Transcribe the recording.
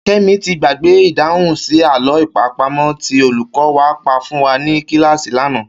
Ké̩mi ti gbàgbé ìdáhùn sí àló̩ àpamò̩ tí olùkó̩ wa pa fún wa ní kíláàsì lánàá